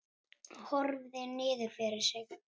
Horfði niður fyrir sig.